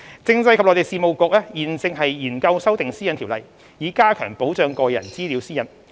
政制及內地事務局現正研究修訂《私隱條例》，以加強保障個人資料私隱。